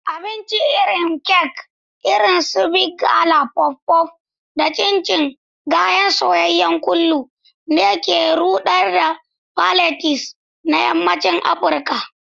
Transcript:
Abincin irin kek irin su Big Gala (puff-puff) da chin-chin (gayan soyayyen kullu) ne ke ruɗar palates na yammacin Afirka.